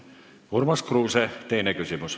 Urmas Kruuse, teine küsimus.